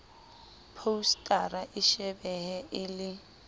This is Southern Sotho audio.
phousetara e shebehe e le